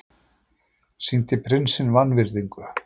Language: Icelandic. Sýndi prinsinum vanvirðingu